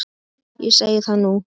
Ég segi það nú!